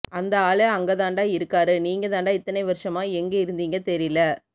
அந்த ஆளு அங்க தாண்ட இருக்காரு நீங்க தான்டா இத்தனை வருசமா எங்க இருந்தீங்க தெரில